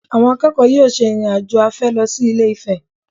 Àwọn akẹ́kọ̀ọ́ yóò ṣe ìrìn-àjò afẹ́ lọ sí Ilé-Ifẹ̀